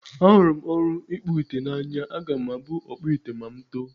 Ahụrụ m ọrụ ịkpụ ite n'anya. Aga m abụ ọkpụ ite ma mụ too.